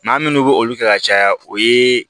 Maa minnu bɛ olu kɛ ka caya o ye